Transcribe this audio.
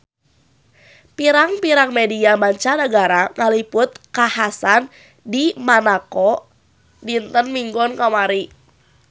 Pirang-pirang media mancanagara ngaliput kakhasan di Monaco dinten Minggon kamari